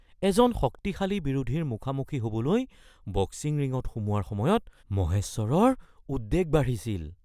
এজন শক্তিশালী বিৰোধীৰ মুখামুখি হ’বলৈ বক্সিং ৰিঙত সোমোৱাৰ সময়ত মহেশ্বৰৰ উদ্বেগ বাঢ়িছিল